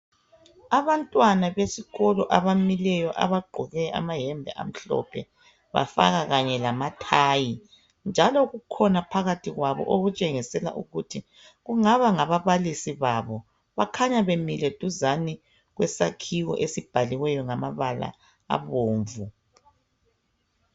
Abantwana besikolo abamileyo abagqoke amayembe amhlophe bafaka kanye lamathayi, njalo kukhona phakathi kwabo okutshengisela ukuthi kungaba ngabalisi babo bakhanya bemile duzane kwesakhiwo esibhaliweyo ngamabala abomvu.